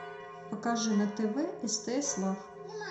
покажи на тв стс лав